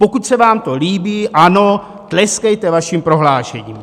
Pokud se vám to líbí, ano, tleskejte vašim prohlášením.